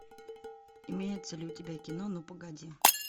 имеется ли у тебя кино ну погоди